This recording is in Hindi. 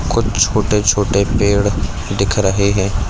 कुछ छोटे-छोटे पेड़ दिख रहे हैं।